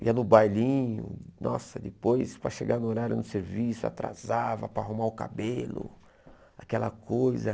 Ia no bailinho, nossa, depois, para chegar no horário do serviço, atrasava para arrumar o cabelo, aquela coisa.